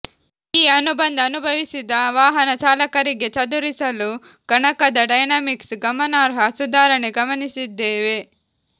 ಈ ಅನುಬಂಧ ಅನುಭವಿಸಿದ ವಾಹನ ಚಾಲಕರಿಗೆ ಚದುರಿಸಲು ಗಣಕದ ಡೈನಾಮಿಕ್ಸ್ ಗಮನಾರ್ಹ ಸುಧಾರಣೆ ಗಮನಿಸಿದ್ದೇವೆ